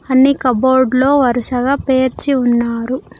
అన్ని కబోర్డ్ లో వరుసగా పేర్చి ఉన్నారు.